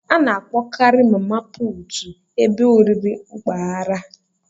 A na-akpọkarị mama puutụ ebe oriri mpaghara.